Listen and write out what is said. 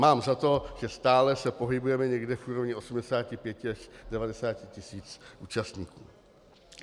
Mám za to, že stále se pohybujeme někde v úrovni 85 až 90 tisíc účastníků.